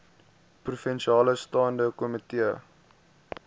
provinsiale staande komitee